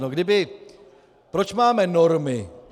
No kdyby, proč máme normy?